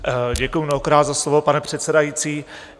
Děkuji mnohokrát za slovo, pane předsedající.